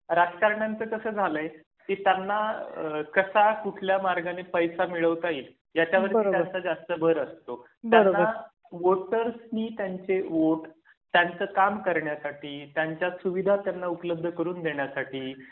राजकारण्यांचं कसं झालय? त्यांना कसा कुठल्या मार्गाने पैसा मिळवता येईल याचा वरती त्यांचा जास्तभर असतो. त्यांना वोटर्सनी त्यांचे वोट त्यांचं काम करण्यासाठी, त्यांच्या सुविधा त्यांना उपलब्ध करून देण्यासाठी